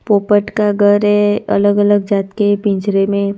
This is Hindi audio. पोपट का गर है अलग अलग जात के पिंजरे में।